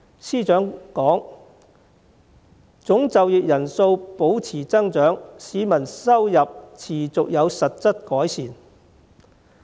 司長稱，"總就業人數保持增長，市民收入持續有實質改善"。